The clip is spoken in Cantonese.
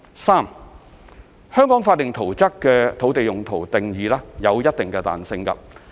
三香港法定圖則的土地用途定義有一定的彈性。